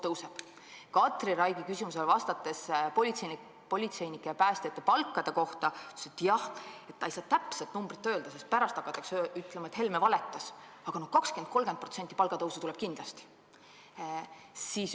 Vastates Katri Raigi küsimusele politseinike ja päästjate palkade kohta, ütles ta, et ta ei saa täpset numbrit öelda, sest pärast hakatakse ütlema, et Helme valetas, aga 20–30% palgatõusu tuleb kindlasti.